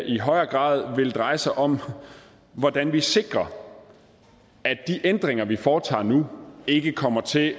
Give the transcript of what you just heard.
i højere grad vil dreje sig om hvordan vi sikrer at de ændringer vi foretager nu ikke kommer til at